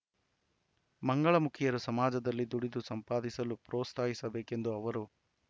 ಮಂಗಳಮುಖಿಯರು ಸಮಾಜದಲ್ಲಿ ದುಡಿದು ಸಂಪಾದಿಸಲು ಪೋತ್ಸಾಹಿಸಬೇಕೆಂದ ಅವರು